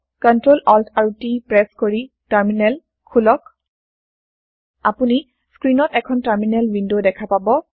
Ctrl Alt আৰু T press কৰি terminal খোলক আপুনি স্ক্ৰীণত এখন টাৰমিনেল ৱিনড দেখা পাব